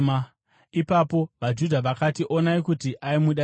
Ipapo vaJudha vakati, “Onai kuti aimuda sei!”